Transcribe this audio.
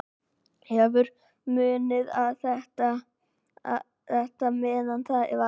Hefur munað um þetta meðan það varði.